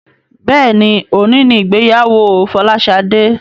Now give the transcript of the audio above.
Béèni òní ní ìgbéyàwó Folashade.